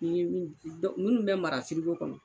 Ni ye min, munnu bɛ mara firigo kɔnɔ.